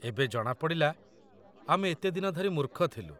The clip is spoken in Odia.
ଏବେ ଜଣାପଡ଼ିଲା, ଆମେ ଏତେ ଦିନ ଧରି ମୂର୍ଖ ଥିଲୁ।